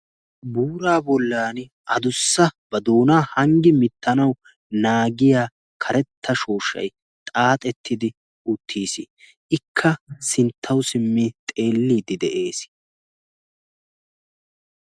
buuraa bollan adussa ba doonaa hanggi mittanau naagiya karetta shooshshay xaaxettidi uttiis ikka sinttawu simmi xeelliiddi de'ees